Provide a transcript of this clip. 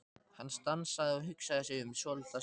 Hann stansaði og hugsaði sig um svolitla stund.